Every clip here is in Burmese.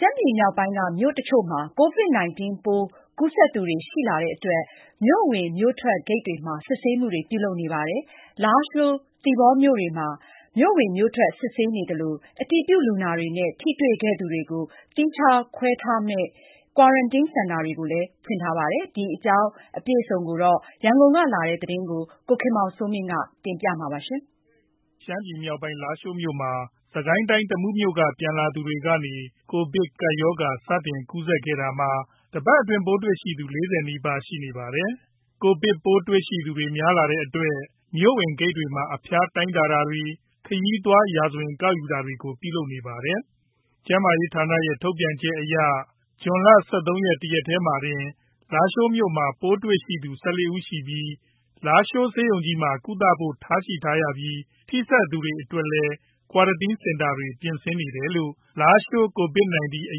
ှမ်းပြည်နယ်မြောက်ပိုင်းက မြို့အချို့မှာ COVID-19 ပိုးကူးစက်သူတွေ ရှိလာတဲ့အတွက် မြို့ဝင် မြို့ထွက်ဂိတ်တွေမှာ စစ်ဆေးမှုတွေ ပြုလုပ်နေပြုလုပ်နေပါတယ်။ လာရှိုးမြို့နဲ့ သီပေါမြို့တွေမှာ မြို့ဝင်မြို့ထွက် စစ်ဆေးသလို၊ အတည်ပြုလူနာတွေနဲ့ ထိတေ့ွခဲ့သူတွေကိုသီးခြားခွဲထားမယ့် ကွာရန်တင်းစင်တာတွေကိုလည်းဖွင့်ထားပါတယ်။ ဒီအကြောင်း အပြည့်အစုံ ရန်ကုန်ကလာတဲ့ သတင်းကို ကိုခင်မောင်စိုးမင်း ကပြောပြပါမယ်။ ရှမ်းပြည်မြောက်ပိုင်း လားရှိုးမြို့မှာ စစ်ကိုင်းတိုင်း တမူးမြို့က ပြန်လာသူတွေကနေ ကိုဗစ်ကပ်ရောဂါ စတင်ကူးစက်ခဲ့တာမှာ တပတ်အတွင်း ပိုးတွေ့ရှိသူ ၄၀ နီးပါးရှိနေပါတယ်။ ကိုဗစ် ပိုးတွေ့ရှိသူတွေ များလာတဲ့အတွက် မြို့ဝင်ဂိတ်တွေမှာ အဖျားတိုင်းတာတွေ ခရီးသွား ရာဇဝင် ကောက်ယူတာတွေကို ပြုလုပ်နေပါတယ်။ ကျန်းမာရေးဌာနရဲ့ ထုတ်ပြန်ချက်အရ ဇွန် ၁၃ ရက် တရက်တည်းမှာတင် လားရှိုးမြို့မှာ ပိုးတွေ့ရှိသူ ၁၄ ဦးရှိပြီး လားရှိုးဆေးရုံကြီးမှာ ကုသဖို့ ထားရှိထားရပြီး ထိစပ်သူတွေအတွက်လည်း ကွာရတင်း စင်တာတွေ ပြင်ဆင်နေတယ်လို့ လားရှိုး COVID- 19 အ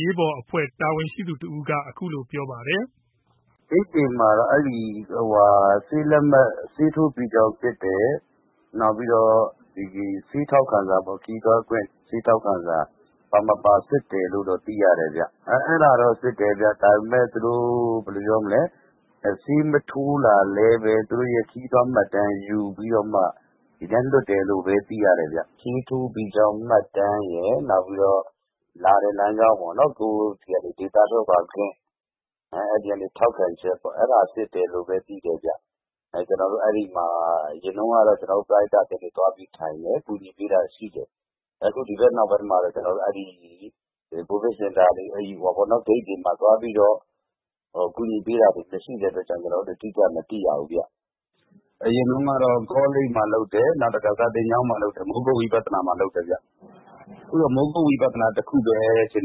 ရေးပေါ် အဖွဲ့ တာဝန်ရှိသူ တဦးက အခုလိုပြောပါတယ်။ “ဂိတ်တွေမှာ ဆေးထိုးပြီးကြောင်းစစ်တယ်။ နောက်ပြီးတော့ ခရီးသွားထောက်ခံစာ ပါမပါ စစ်တယ်လို့တော့ သိရတယ်။ စစ်တာတော့ စစ်တယ်။ ဆေးမထိုးလာလည်းဘဲ သူတို့ရဲ့ ခရီးသွားမှတ်တမ်းယူပြီးတော့ ဒီတိုင်းလွှတ်တယ်လို့ပဲ သိရတယ်။ ဆေးထိုးပြီးသားမှတ်တမ်းရယ်။ လာတဲ့လမ်းကြောင်း ကိုယ့်ဆီးက ဒေသထွက်ခွါခွင့် အဲ့ဒီကနေ ထောက်ခံချက်ပေါ့။ အဲ့ဒါစစ်တယ်လို့ပဲသိတယ်။ အရင်တုန်းကတော့ ကျွန်တော်တို့ ပရဟိတ အသင်းတွေ သွားပြီးထိုင်တယ် ကူညီပေးတာရှိတယ်။ အခုဒီဘက်နောက်ပိုင်းမှာ ကိုဗစ်စင်တာတွေ ဂိတ်တွေမှာ သွားပြီး ကူညီပေးတာမရှိတော့ ကျွန်တော်တို့ အတိကျမသိရဘူး။ အရင်တုန်းကတော့ ကောလိပ်မှာ လုပ်တယ်။ မိုးကုတ်ဝိပသာနာမှာလုပ်တယ်။ အခုတော့ မိုးကုတ်ဝိပသာနာမှာပဲ ကွာရတင်းစင်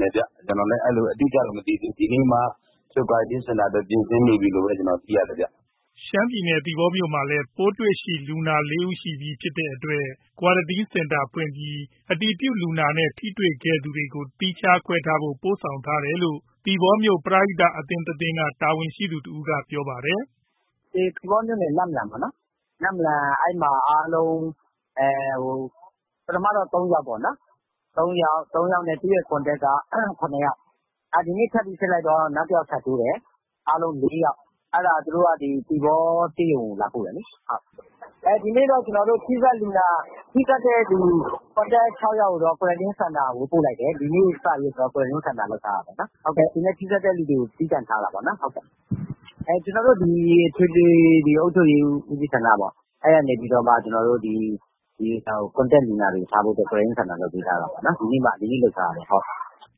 တာအတွက် ပြင်ဆင်နေပြီလို့သိရတယ်။” ရှမ်းပြည်နယ် သီပေါမြို့မှာလည်း ပိုးတွေ့လူနာ ၄ ဦးရှိပြီ ဖြစ်တဲ့အတွက် ကွာရတင်း စင်တာ ဖွင့်ပြီး အတည်ပြုလူနာနဲ့ ထိတေ့ွခဲ့သူတွေကို သီးခြားခွဲထားဖို့ ပို့ဆောင်ထားတယ်လို့ သီပေါမြို့ ပရိဟိတ အသင်းတသင်းက တာဝန်ရှိသူ တဦးက ပြောပါတယ်။ “သီပေါမြို့နယ် နမ့်လမ် ပထမတော့ ၃ ယောက်ပေါ့နော်။ သူ့ရဲ့ Contact က ၇ ယောက် ဒီနေ့ ထပ်ပြီး စစ်လိုက်တော့ နောက်တယောက် ထပ်တိုးတယ်။ အားလုံး ၄ ယောက် သူတို့က သီပေါ ဆေးရုံကို လာပို့တယ်လေ။ ဒီနေ့တော့ ထိစပ်သူ ၆ ယောက်ကိုတော့ ကွာရတင်း စင်တာကို ပို့လိုက်တယ်။ ဒီနေ့စပြီး ကွာရတင်းစင်တာ လုပ်ထားတာပေါ့နော်။ သူနဲ့ထိစပ်တဲ့သူတွေကို သီးသန့်ထားတာပေါ့။ ကျွန်တော်တို့ အထွေ အုပ်ချုပ်ရေး ဦးစီးဌာနက ကွာရတင်းစင်တာ လုပ်ထားပေးတာ။ ဒီနေ့မှ လုပ်ထားတာ။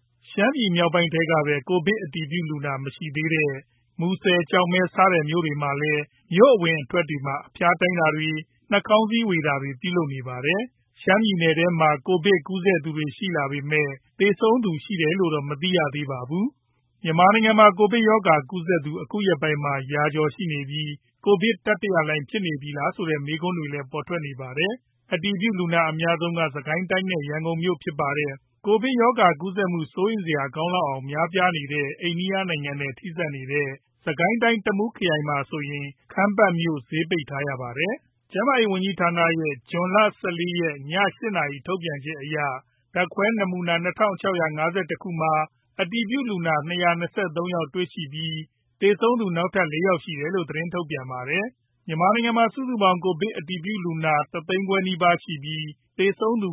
” ရှမ်းပြည်နယ်မြောက်ပိုင်းထဲကပဲ ကိုဗစ်အတည်ပြုလူနာ မရှိသေးတဲ့ မူဆယ် ကျောက်မဲ စတဲ့မြို့တွေမှာလည်း မြို့အဝင်တွေမှာ အဖျားတိုင်းတာတွေ နှာခေါင်းစည်းဝေတာတွေ ပြုလုပ်နေပါတယ်။ ရှမ်းပြည်နယ်ထဲမှာ ကိုဗစ်ကူးစက်သူတွေရှိလာပေမယ့် သေဆုံးသူ ရှိတယ်လို့တော့ မသိရသေးပါဘူး။ မြန်မာနိုင်ငံမှာ ကိုဗစ်ရောဂါကူးစက်သူ အခုရက်ပိုင်းမှာ ရာကျော်ရှိနေပြီး ကိုဗစ်တတိယလှိုင်းဖြစ်နေပြီလားဆိုတဲ့ မေးခွန်းတွေလည်း ထွက်ပေါ်နေပါတယ်။ အတည်ပြုလူနာအများဆုံးက စစ်ကိုင်းတိုင်းနဲ့ ရန်ကုန်မြို့ဖြစ်ပါတယ်။ ကိုဗစ်ရောဂါကူးစက်မှု စိုးရိမ်စရာကောင်းလောက်အောင် များနေတဲ့ အိန္ဒိယနိုင်ငံနဲ့ ထိဆက်နေတဲ့ စစ်ကိုင်းတိုင်း တမူးခရိုင်မှာဆိုရင် ခမ်းပတ်မြို့ဈေးပိတ်ထားရပါတယ်။ ကျန်းမာရေးဝန်ကြီးဌာနရဲ့ ဇွန် ၁၄ ရက် ည ၈ နာရီ ထုတ်ပြန်ချက်အရ ဓါတ်ခွဲနာမူနာ ၂၆၅၁ ခုမှာ အတည်ပြုလုနာ ၂၂၃ ယောက်တေ့ွရှိပြီး သေဆုံးသူနောက်ထပ် ၄ ယောက်ရှိတယ်လို့ သတင်းထုတ်ပြန်ပါတယ်။ မြန်မာနိုင်ငံမှာ စုစုပေါင်း ကိုဗစ်အတည်ပြုလူနာ စုစုပေါင်း ၁ သိန်းခွဲနီးပါးရှိနေပြီး သေဆုံးသူ